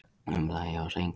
Um það efast enginn.